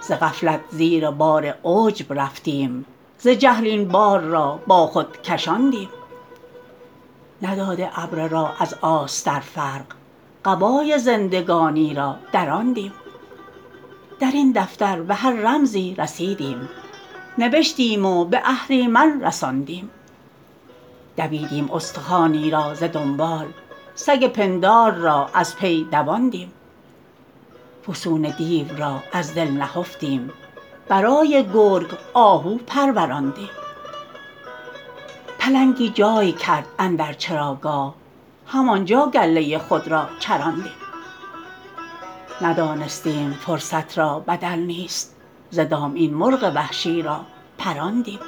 ز غفلت زیر بار عجب رفتیم ز جهل این بار را با خود کشاندیم نداده ابره را از آستر فرق قبای زندگانی را دراندیم درین دفتر به هر رمزی رسیدیم نوشتیم و به اهریمن رساندیم دویدیم استخوانی را ز دنبال سگ پندار را از پی دواندیم فسون دیو را از دل نهفتیم برای گرگ آهو پروراندیم پلنگی جای کرد اندر چراگاه همانجا گله خود را چراندیم ندانستیم فرصت را بدل نیست ز دام این مرغ وحشی را پراندیم